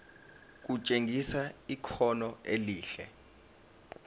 kutshengisa ikhono elihle